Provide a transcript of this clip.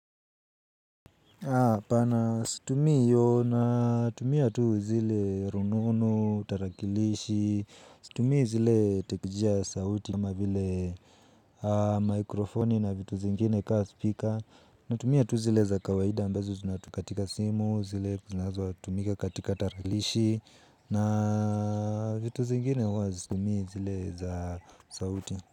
Tumia tu zile ronono, tarakilishi, situmii zile tekijia sauti kama vile mikrofoni na vitu zingine kama speaker. Natumia tu zile za kawaida ambazo zinatukatika simu, zile zinazotumika katika tarakilishi na vitu zingine huwa hazitumii zile za sauti.